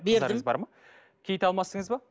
бердім кит алмастыңыз ба